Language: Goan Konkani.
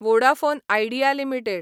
Vodafone Idea limited